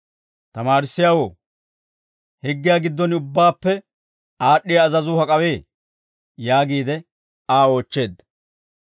«Tamaarissiyaawoo, higgiyaa gidduwaan ubbaappe aad'd'iyaa azazuu hak'awee?» yaagiide Aa oochcheedda.